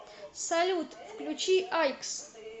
салют включи айкс